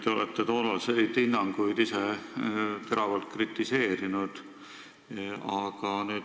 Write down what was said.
Te olete toonaseid hinnanguid ise teravalt kritiseerinud.